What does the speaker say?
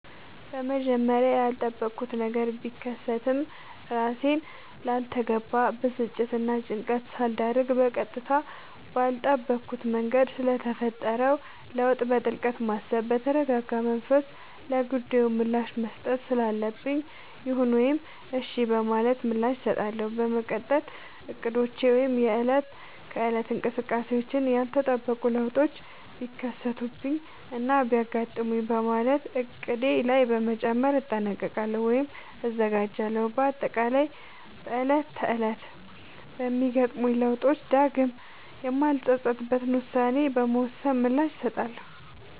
በመጀመሪያ ያልጠበኩት ነገር ቢከሰትም እራሴን ላልተገባ ብስጭትናጭንቀት ሳልዳርግ በቀጥታ ባልጠበኩት መንገድ ስለተፈጠረው ለውጥ በጥልቀት በማሰብ በተረጋጋመንፈስ ለጉዳዩ ምላሽ መስጠት ስላለብኝ ይሁን ወይም እሽ በማለት ምላሽ እሰጣለሁ። በመቀጠል እቅዶቼ ወይም የእለት ከእለት እንቅስቃሴዎቼን ያልተጠበቁ ለውጦች ቢከሰቱብኝናቢያጋጥሙኝ በማለት እቅዴ ላይ በመጨመር እጠነቀቃሉ ወይም እዘጋጃለሁ። በአጠቃላይ በእለት ተእለት በሚገጥሙኝ ለውጦች ዳግም የማልፀፀትበትን ውሳኔ በመወሰን ምላሽ እሰጣለሁ።